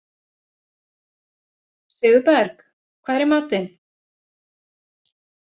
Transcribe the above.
Sigurberg, hvað er í matinn?